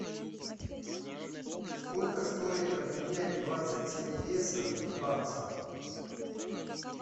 сколько стоит обменять двадцать семь песо в баксы